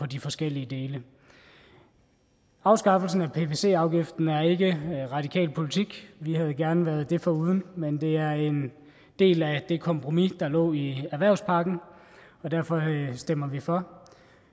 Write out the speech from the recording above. de forskellige dele afskaffelsen af pvc afgiften er ikke radikal politik vi havde gerne været det foruden men det er en del af det kompromis der lå i erhvervspakken og derfor stemmer vi for